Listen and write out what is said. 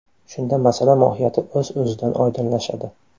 Shunda masala mohiyati o‘z o‘zidan oydinlashadi.